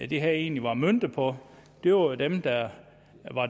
det her egentlig var møntet på jo er dem der er